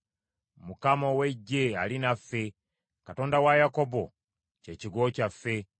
Mukama ow’Eggye ali naffe, Katonda wa Yakobo kye kigo kyaffe.